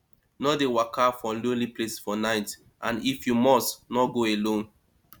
no de waka for lonely place for night and if you must no go alone